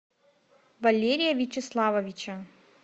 валерия вячеславовича